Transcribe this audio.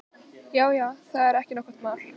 Já, já, það er ekki nokkurt mál.